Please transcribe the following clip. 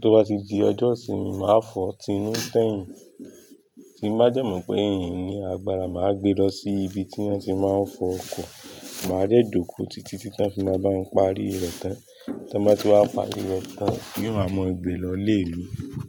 Tó bá ti di ọjọ́ ìsinmi máà fọ̀ tí inú tẹ̀yìn. Tí bá dẹ́ mo pé n ní agbára, màá gbé lọ sí ibi tí wọ́n ti máa ń fọ ọkọ̀. Màá jẹ́ jòko títí tí wọ́n fi máa bá mi parí rẹ̀ tán. Tí wọ́n bá ti wá parí rẹ̀ tán ni ó máa mọ ìgbà lọ ilè mì.